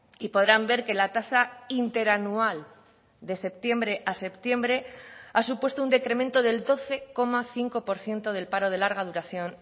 y podrán ver que la tasa interanual de septiembre a septiembre ha supuesto un decremento del doce coma cinco por ciento del paro de larga duración